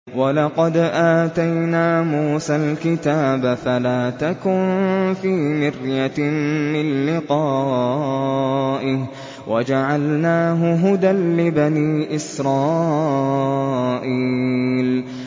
وَلَقَدْ آتَيْنَا مُوسَى الْكِتَابَ فَلَا تَكُن فِي مِرْيَةٍ مِّن لِّقَائِهِ ۖ وَجَعَلْنَاهُ هُدًى لِّبَنِي إِسْرَائِيلَ